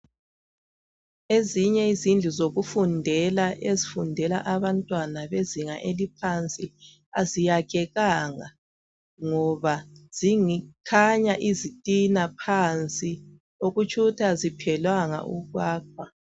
Ezinye izindlu zokufundela ,ezifundela abantwana bezinga eliphansi aziyakhekanga .Ngoba zikhanya izitina phansi okutshukuthi aziphelanga ukwakhwa.